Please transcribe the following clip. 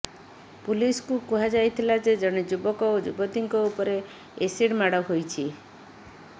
ପୁଲିସ୍କୁ କୁହାଯାଇଥିଲା ଯେ ଜଣେ ଯୁବକ ଓ ଯୁବତୀଙ୍କ ଉପରେ ଏସିଡ୍ ମାଡ଼ ହୋଇଛି